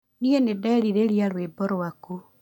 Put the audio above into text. Nĩ nĩndĩrerirĩria rũimbo rwaku